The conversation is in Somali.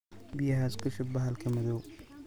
Biyaxas kushup baxalka madhow.